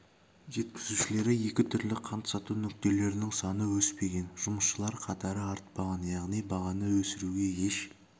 жеткізушілері екі түрлі қант сату нүктелерінің саны өспеген жұмысшылар қатары артпаған яғни бағаны өсіруге еш